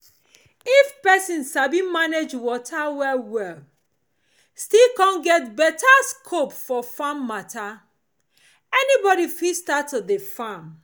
if pesin sabi manage water well well still com get beta scope for farm mata any body fit start to dey farm